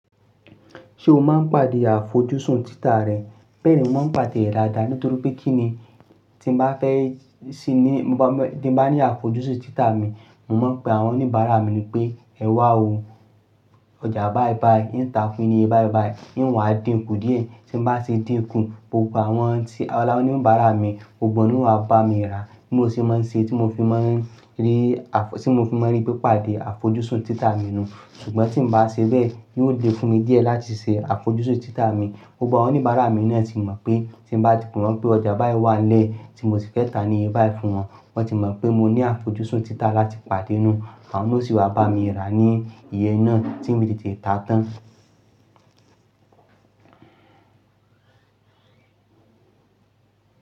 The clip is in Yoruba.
Ṣé o máa ń pàdé àfojúsùn títà rẹ? Bẹ́ẹ̀ ni mo máa ń pàdé ẹ̀ ládá nítorí pé kí ni tí mo bá fẹ́ ṣí ní, tí mo bá ní àfojúsùn títà mi, mo máa ń pe àwọn oníbàárà mi pé, "Ẹ wá o, ọjà baa bayii, ni ń ta fún yin ni iye baa bayii, yín wà díǹkù díẹ̀." Tí mo bá ṣe díǹkù, gbogbo àwọn tí ara oníbàárà mi, gbogbo wọn ni ó wá bá mi rà, bí mo ṣe máa ń ṣe, tí mo fi máa ń rí, tí mo fi máa ń rí pé pàdé àfojúsùn títà mi nù. Ṣùgbọ́n tí mo bá ṣe bẹ́ẹ̀, yóò le fún mi díẹ̀ láti ṣe àfojúsùn títà mi. Gbogbo àwọn oníbàárà mi náà ti mọ̀ pé tí mo bá ti pé wọ́n pé ọjà bayii wà nile tí mo ti fẹ́ ta ní e ba tún wọn, wọ́n ti mọ̀ pé mo ní àfojúsùn títà láti pàdé nù, àwọn náà sì wá bá mi rà ní iye náà tí mi ti tì ta tán.